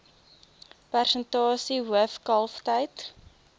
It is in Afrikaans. persentasie hoof kalftyd